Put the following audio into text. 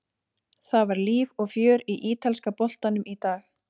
Það var líf og fjör í ítalska boltanum í dag.